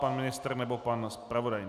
Pan ministr nebo pan zpravodaj?